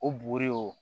O buguri o